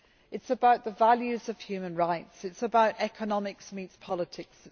It is about the values of human rights. It is about economics meeting politics.